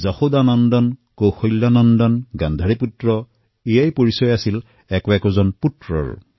যশোদা নন্দন কৌশলা নন্দন গান্ধাৰীপুত্ৰ এয়াই পৰিচয় আছিল পুত্ৰসকলৰ